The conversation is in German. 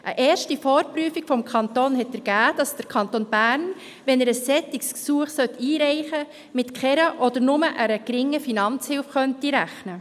Eine erste Vorprüfung des Kantons hat ergeben, dass der Kanton Bern, wenn er ein solches Gesuch einreichen sollte, mit keiner oder nur einer geringen Finanzhilfe rechnen könnte.